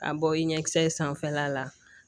A bɔ i ɲɛkisɛ in sanfɛla la